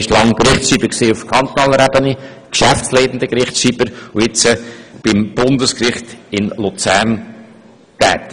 Während längerer Zeit war er Gerichtsschreiber auf kantonaler Ebene, dann war er geschäftsleitender Gerichtsschreiber, und jetzt ist er beim Bundesgericht in Luzern tätig.